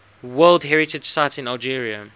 world heritage sites in algeria